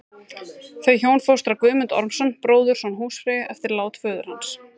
Þau hjón fóstra Guðmund Ormsson, bróðurson húsfreyju, eftir lát föður hans.